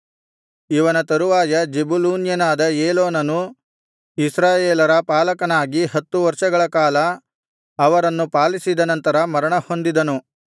ಇವನ ತರುವಾಯ ಜೆಬುಲೂನ್ಯನಾದ ಏಲೋನನು ಇಸ್ರಾಯೇಲರ ಪಾಲಕನಾಗಿ ಹತ್ತು ವರ್ಷಗಳ ಕಾಲ ಅವರನ್ನು ಪಾಲಿಸಿದ ನಂತರ ಮರಣಹೊಂದಿದನು